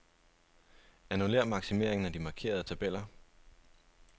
Annullér maksimeringen af de markerede tabeller.